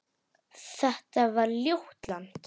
Þetta var ljótt land.